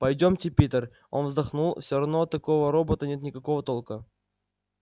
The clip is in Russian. пойдёмте питер он вздохнул всё равно от такого робота нет никакого толка